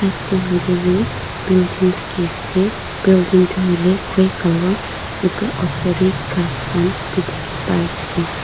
tae hoilae tu building thakiase building tu hoilae grey colour edu la osor tae ghas han bi thaki paiase.